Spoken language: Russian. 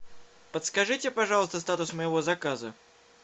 подскажите пожалуйста статус моего заказа